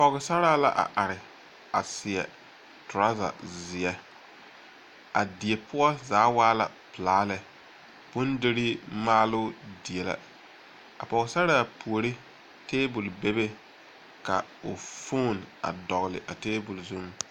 Pͻgesaraa la are a seԑ toraza zeԑ. A die poͻ zaa waa la pelaa lԑ. bondirii maaloo die la. A pͻgesaraa puori, teebol bebe ka o fooni a dͻgele a teebol zuŋ.